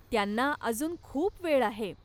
त्यांना अजून खूप वेळ आहे.